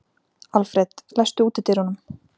Alfred, læstu útidyrunum.